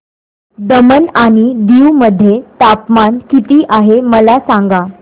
दमण आणि दीव मध्ये तापमान किती आहे मला सांगा